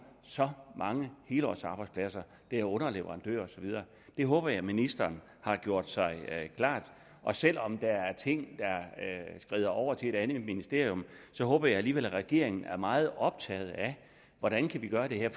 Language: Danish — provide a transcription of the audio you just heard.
så mange helårsarbejdspladser det er underleverandører og så videre det håber jeg ministeren har gjort sig klart selv om der er ting der skrider over til et andet ministerium håber jeg alligevel at regeringen er meget optaget af hvordan vi kan gøre det her